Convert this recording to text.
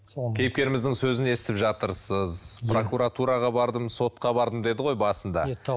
кейіпкеріміздің сөзін естіп жатырсыз прокуратуға бардым сотқа бардым деді ғой басында иә